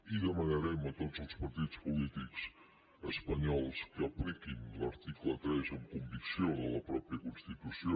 i demanarem a tots els partits polítics espanyols que apliquin l’article tres amb convicció de la mateixa constitució